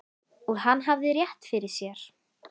Og hann hafði rétt fyrir sér.